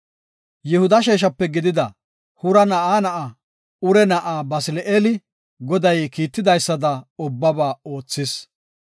Yihuda sheeshape gidida Huura na7aa na7aa, Ure na7aa, Basili7eeli, Goday kiitidaysada ubbaba oothis.